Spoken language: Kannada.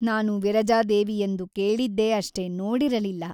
ನಾನು ವಿರಜಾದೇವಿಯೆಂದು ಕೇಳಿದ್ದೇ ಅಷ್ಟೇ ನೋಡಿರಲಿಲ್ಲ.